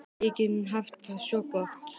Við getum haft það svo gott.